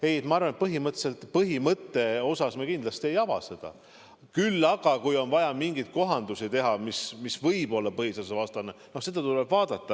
Ei, ma arvan, et põhimõtte osas me kindlasti ei ava seda, küll aga, kui on vaja mingeid kohandusi teha, siis seda, mis võib olla põhiseadusvastane, tuleb vaadata.